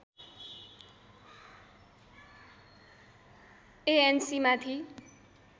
ANC माथि